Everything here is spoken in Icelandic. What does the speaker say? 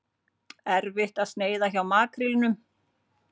Erfitt að sneiða hjá makrílnum